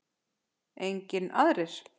Engir aðrir?